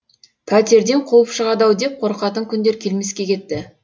пәтерден қуып шығады ау деп қорқатын күндер келмеске кетті